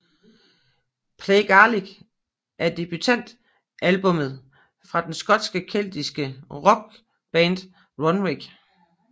Play Gaelic er debutalbummet fra det skotske keltiske rockband Runrig